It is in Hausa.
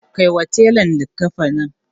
Kai wa tela likkafanin.